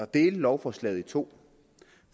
dele lovforslaget i to